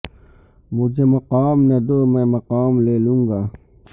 مجھے مقام نہ دو میں مقام لے لو نگا